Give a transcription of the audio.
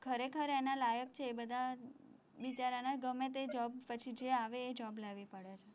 ખરેખર એના લાયક છે એ બધા બિચારાને ગમે તે job પછી જે આવે એ job લેવી પડે છે,